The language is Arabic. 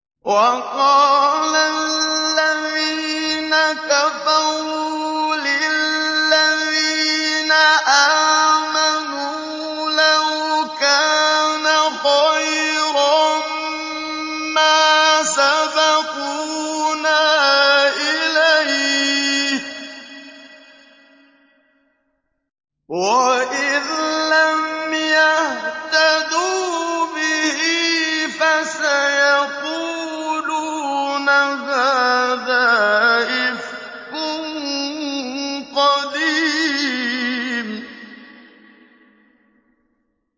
وَقَالَ الَّذِينَ كَفَرُوا لِلَّذِينَ آمَنُوا لَوْ كَانَ خَيْرًا مَّا سَبَقُونَا إِلَيْهِ ۚ وَإِذْ لَمْ يَهْتَدُوا بِهِ فَسَيَقُولُونَ هَٰذَا إِفْكٌ قَدِيمٌ